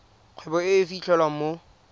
kgwebo e e fitlhelwang mo